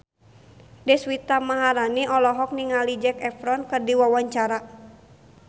Deswita Maharani olohok ningali Zac Efron keur diwawancara